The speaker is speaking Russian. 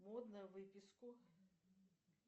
модно выписку